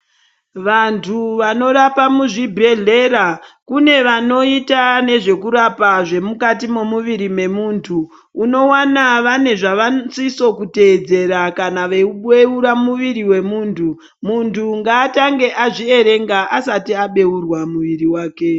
Vantu vanorapa muzvibhedhlera kunobanoita zvekurapa zvemukati memuviri memuntu unowana vane zvavanosisa kuteedzera kana vabeura muviri wemuntu muntu angatangee azviverenga asati abheurwa muviri wake.